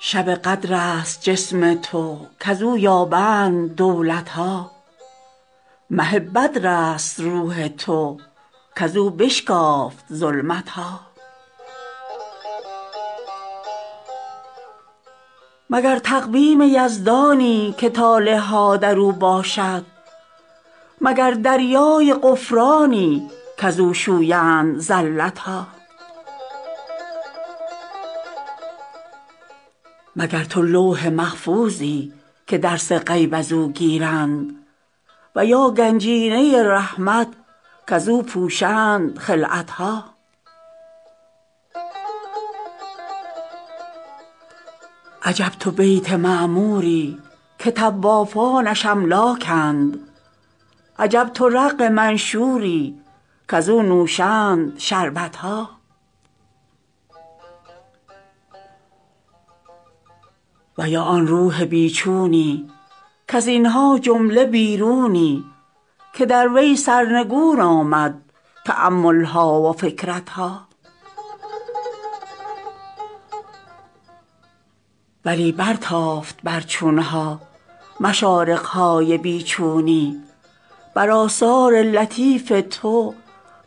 شب قدر است جسم تو کز او یابند دولت ها مه بدرست روح تو کز او بشکافت ظلمت ها مگر تقویم یزدانی که طالع ها در او باشد مگر دریای غفرانی کز او شویند زلت ها مگر تو لوح محفوظی که درس غیب از او گیرند و یا گنجینه رحمت کز او پوشند خلعت ها عجب تو بیت معموری که طوافانش املاکند عجب تو رق منشوری کز او نوشند شربت ها و یا آن روح بی چونی کز این ها جمله بیرونی که در وی سرنگون آمد تأمل ها و فکرت ها ولی برتافت بر چون ها مشارق های بی چونی بر آثار لطیف تو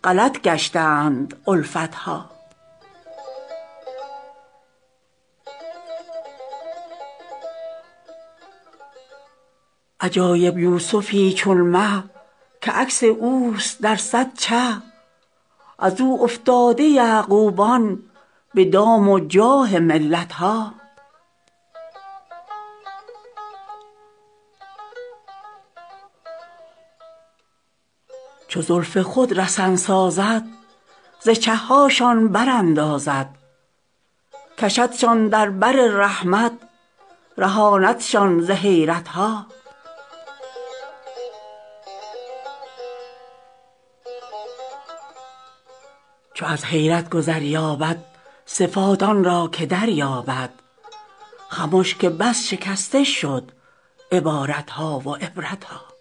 غلط گشتند الفت ها عجایب یوسفی چون مه که عکس اوست در صد چه از او افتاده یعقوبان به دام و جاه ملت ها چو زلف خود رسن سازد ز چه هاشان براندازد کشدشان در بر رحمت رهاندشان ز حیرت ها چو از حیرت گذر یابد صفات آن را که دریابد خمش که بس شکسته شد عبارت ها و عبرت ها